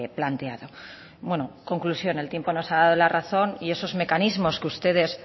planteado bueno conclusión el tiempo nos ha dado la razón y esos mecanismos que ustedes